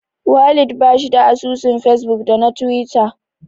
Walid bashi da asusun fesbuk da na tiwita.